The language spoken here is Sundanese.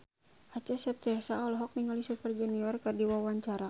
Acha Septriasa olohok ningali Super Junior keur diwawancara